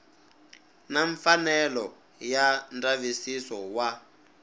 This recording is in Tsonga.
na mfanelo ya ndzavisiso wa